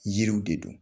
Yiriw de don